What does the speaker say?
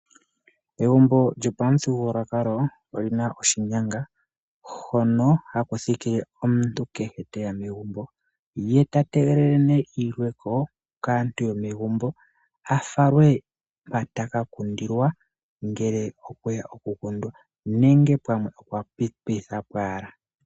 Egumbo lyopamuthigululwakalo oli na oshinyanga hono haku thikile omuntu uuna teya megumbo ye tategelele ne iilweko kaantu yomegumbo afalwe pa taka kundilwa ngele okweya oku kundwa nenge pamwe okwa pita po wala.